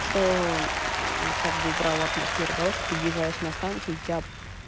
что как бы убрал атмосферу того что ты въезжаешь на станцию тебя